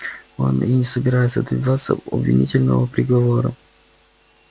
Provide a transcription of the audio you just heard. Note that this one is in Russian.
он и не собирается добиваться обвинительного приговора